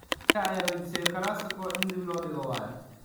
(Manchester wararka galabti) La Liga ayaa weydiistay El Clasico in dib loo dhigo - waayo?